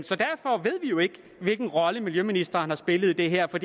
jo ikke hvilken rolle miljøministeren har spillet i det her for